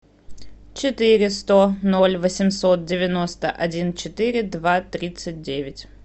четыре сто ноль восемьсот девяносто один четыре два тридцать девять